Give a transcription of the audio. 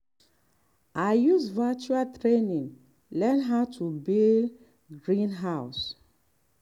i use virtual training learn how to build greenhouse.